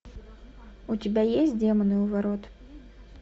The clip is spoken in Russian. у тебя есть демоны у ворот